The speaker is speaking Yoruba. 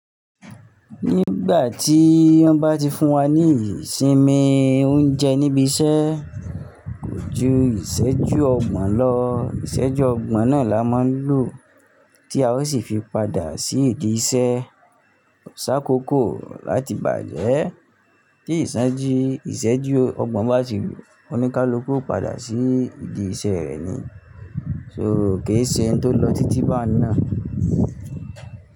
Nígbà tí wọ́n bá ti fún wa ní ìsinmi oúnjẹ níbi iṣẹ́, kó ju ìṣẹ́jú ọgbọ̀n lọ. Ìṣẹ́jú ọgbọ̀n náà là máa ń lò, tí a ó sì fi padà sí ìdí iṣẹ́. Sá kókó láti bàjẹ́. Tí ìṣẹ́jú ọgbọ̀n bá ti lù, ọ́níkálukú ó padà sí ìdí iṣẹ́ rẹ ni. So kò ì ṣe òun tó lọ títí bá ni náà.